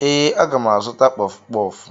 Ee, aga m azụta kpọfụ kpọfụ